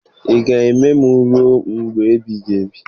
Ị ga-eme m ruo mgbe ebighị ebi?